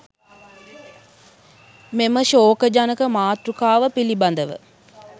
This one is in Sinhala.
මෙම ශෝකජනක මාතෘකාව පිළිබඳව